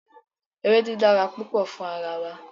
Ewedu dara pupo fun ara wa